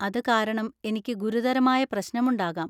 അത് കാരണം എനിക്ക് ഗുരുതരമായ പ്രശ്‌നമുണ്ടാകാം.